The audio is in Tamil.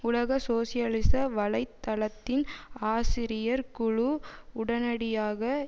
உலக சோசியலிச வலை தளத்தின் ஆசிரியர் குழு உடனடியாக